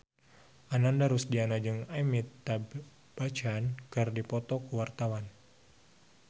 Ananda Rusdiana jeung Amitabh Bachchan keur dipoto ku wartawan